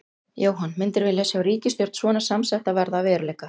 Jóhann: Myndirðu vilja sjá ríkisstjórn svona samsetta verða að veruleika?